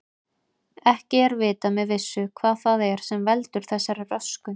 Ekki er vitað með vissu hvað það er sem veldur þessari röskun.